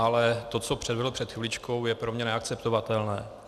Ale to, co předvedl před chviličkou, je pro mě neakceptovatelné.